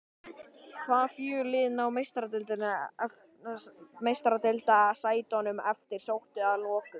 Hvaða fjögur lið ná Meistaradeildarsætunum eftirsóttu að lokum?